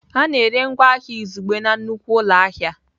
A na-ere ngwa ahịa izugbe na nnukwu ụlọ ahịa.